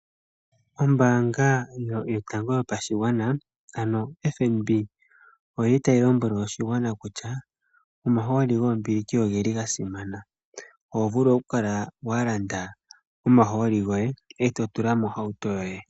Ombaanga yotango yopashigwana ano fnb oyili tayilombwele oshigwana kutya omahooli goombiliki ogeli gasimana. Ohovulu okukala walanda omahooli goye etotula mohauto yoye.